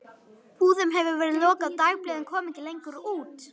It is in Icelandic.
Búðum hefur verið lokað og dagblöðin koma ekki lengur út.